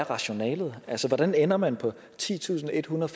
rationalet er altså hvordan ender man på titusinde og ethundrede